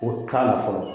O t'a la fɔlɔ